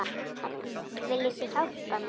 En viljið þið hjálpa mér?